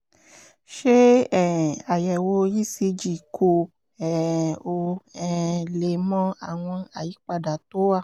ṣe um àyẹ̀wò ecg kó um o um lè mọ àwọn àyípadà tó wà